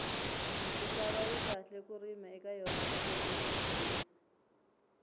misava yi kahle ku rima eka yona loko uyi hlayisa